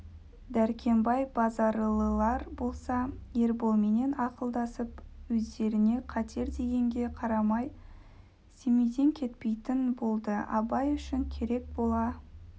дәркембай базаралылар болса ерболменен ақылдасып өздеріне қатер дегенге қарамай семейден кетпейтін болды абай үшін керек бола